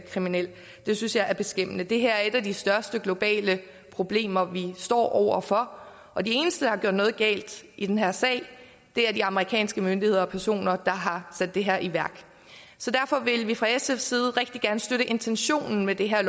kriminel det synes jeg er beskæmmende det her er et af de største globale problemer vi står over for og de eneste der har gjort noget galt i den her sag er de amerikanske myndigheder og personer der har sat det her i værk derfor vil vi fra sfs side rigtig gerne støtte intentionen med det her